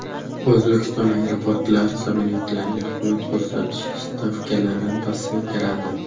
O‘zbekiston aeroportlari samolyotlarga xizmat ko‘rsatish stavkalarini pasaytiradi .